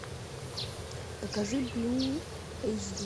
покажи блю эйч ди